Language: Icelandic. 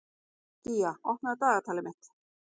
Gía, opnaðu dagatalið mitt.